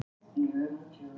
Vel kæst og flott.